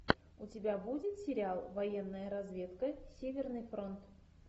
у тебя будет сериал военная разведка северный фронт